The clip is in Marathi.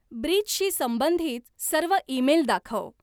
ब्रीचशी संबंधित सर्व ईमेल दाखव